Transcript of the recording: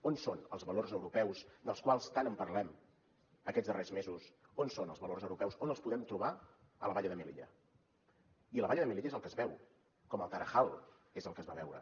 on són els valors europeus dels quals tant en parlem aquests darrers mesos on són els valors europeus on els podem trobar a la valla de melilla i la valla de melilla és el que es veu com el tarajal és el que es va veure